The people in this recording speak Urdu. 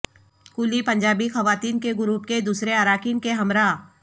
کولی پنجابی خواتین کے گروپ کے دوسرے اراکین کے ہمراہ